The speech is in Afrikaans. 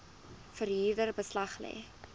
verhuurder beslag lê